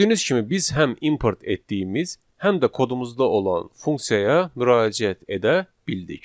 Gördüyünüz kimi biz həm import etdiyimiz, həm də kodumuzda olan funksiyaya müraciət edə bildik.